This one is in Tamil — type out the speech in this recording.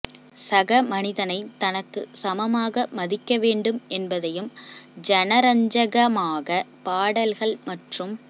சக மனிதனை தனக்குச் சமமாக மதிக்க வேண்டும் என்பதையும் ஜனரஞ்சகமாக பாடல்கள் மற்றும்